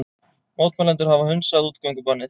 Mótmælendur hafa hunsað útgöngubannið